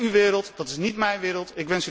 Dat is uw wereld, dat is niet mijn wereld.